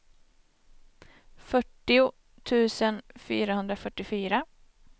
fyrtio tusen fyrahundrafyrtiofyra